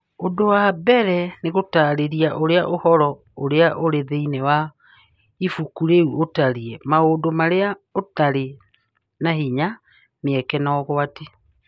Ũndũ wa mbere, nĩ gũtaarĩria ũrĩa ũhoro ũrĩa ũrĩ thĩinĩ wa ibuku rĩu ũtariĩ, maũndũ marĩa ũtarĩ na hinya, mĩeke, na ũgwati.